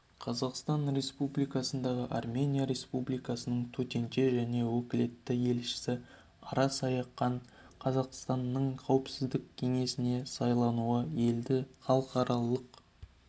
қазақстан республикасындағы армения республикасының төтенше және өкілетті елшісі ара саакян қазақстанның қауіпсіздік кеңесіне сайлануы елді халықаралық